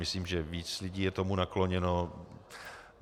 Myslím, že víc lidí je tomu nakloněno.